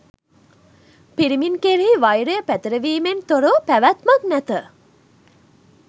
පිරිමින් කෙරෙහි වෛරය පැතිරවීමෙන් තොරව පැවැත්මක් නැත